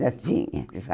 Já tinha, já.